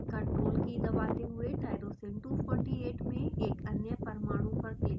ctrl key दबाते हुए tyrosine 248 में एक अन्य परमाणु पर क्लिक करें